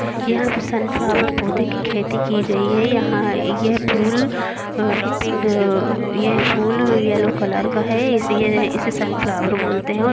यहां पे सनफ्लोवर पौधे की खेती की गई है यहां ये फूलअ-पिंघ-ए यह फूल येलो कलर का है यह-इसे सनफ्लॉवर बोलते है।